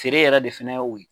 Seere yɛrɛ de fɛnɛ y'o ye.